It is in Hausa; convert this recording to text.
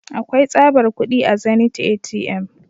Akwai tsabar kudi a zenith ATM.